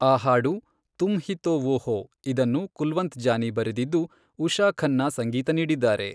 ಆ ಹಾಡು ತುಮ್ ಹಿ ತೊ ವೋ ಹೋ, ಇದನ್ನು ಕುಲ್ವಂತ್ ಜಾನಿ ಬರೆದಿದ್ದು, ಉಷಾ ಖನ್ನಾ ಸಂಗೀತ ನೀಡಿದ್ದಾರೆ.